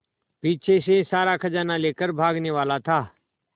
पीछे से सारा खजाना लेकर भागने वाला था